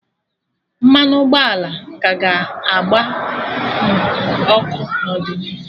Mmanụ ụgbọala ka ga-agba nwu ọkụ n'ọdịnihu